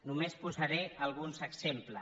només posaré alguns exemples